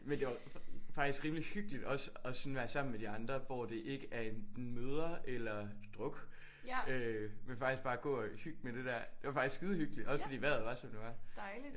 Men det var faktisk rimeligt hyggeligt også og sådan være sammen med de andre hvor det ikke er enten møder eller druk øh men faktisk bare at gå at hygge med det der. Det var faktisk skidehyggeligt. Også fordi vejret var som det var